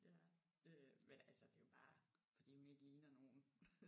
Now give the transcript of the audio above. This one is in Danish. Ja øh men altså det er jo bare fordi hun ikke ligner nogen